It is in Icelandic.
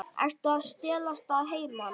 Ertu að stelast að heiman?